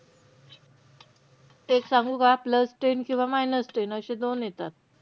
तेच सांगू का, plus ten किंवा minus ten अशे दोन येतात.